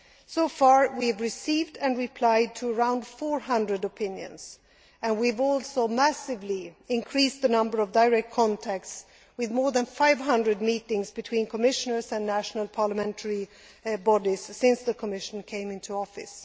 So far, we have received and replied to around 400 opinions, and we have also massively increased the number of direct contacts, with more than 500 meetings between Commissioners and national parliamentary bodies since the Commission came into office.